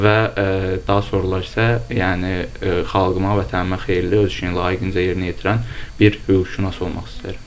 və daha sonralar isə, yəni xalqıma, vətənimə xeyirli, öz işini layiqincə yerinə yetirən bir hüquqşünas olmaq istəyirəm.